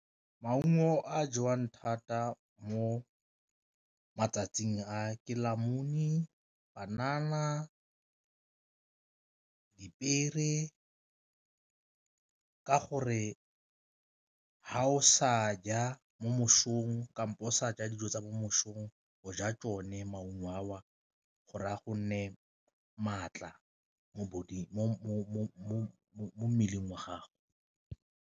Maungo a jewang thata mo matsatsing a ke le , banana, dipiere ka gore fa o sa ja mo mosong kampo o sa ja dijo tsa mo mosong o ja tsone maungo ao gore a go nee maatla mo mmeleng wa gago.